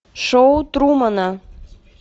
шоу трумана